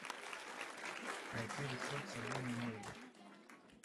найти рецепт соленой мойвы